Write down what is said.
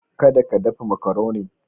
Kada ka dafa makaronin.